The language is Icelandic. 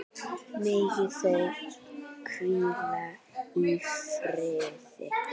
Megi þau hvíla í friði.